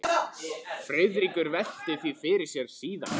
Friðrik velti því fyrir sér síðar.